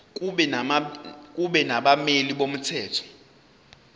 kube nabameli bomthetho